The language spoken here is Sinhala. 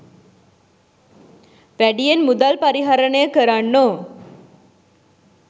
වැඩියෙන් මුදල් පරිහරණය කරන්නෝ